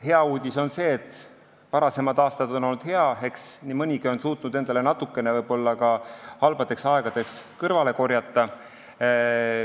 Hea uudis on see, et varasemad aastad on olnud head, eks nii mõnigi on ehk suutnud endale natukene ka halbadeks aegadeks kõrvale korjata.